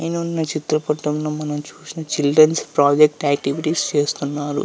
చిత్రపటంలో మనం చూసిన చిల్డ్రన్ ప్రాజెక్ట్ ఆక్టివిటీస్ చేస్తున్నారు.